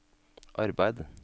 arbeid